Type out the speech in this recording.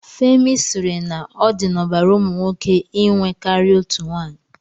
Femi sịrị na ọ dị n'ọbara ụmụ nwoke inwe karịa otu nwaanyị.